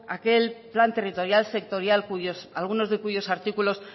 aquel plan territorial sectorial algunos de cuyos artículos